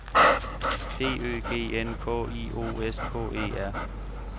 D Ø G N K I O S K E R